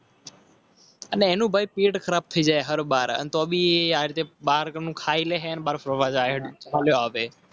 અને એનું ભાઈ પેડ ક્રાફ્ટ થઈ જાય